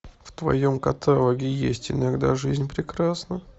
в твоем каталоге есть иногда жизнь прекрасна